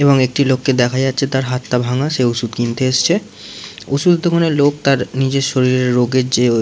এবং একটি লোক কে দেখা যাচ্ছে তাঁর হাত টা ভাঙা সে ওষুধ কিনতে এসছে। ওষুধের দোকানের লোক তার নিজের শরীরে রোগের যে ও --